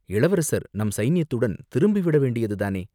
இளவரசர் நம் சைனியத்துடன் திரும்பிவிட வேண்டியதுதானே?